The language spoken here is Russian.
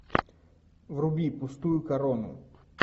вруби пустую корону